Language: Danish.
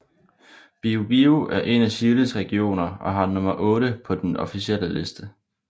Biobío er en af Chiles regioner og har nummer VIII på den officielle liste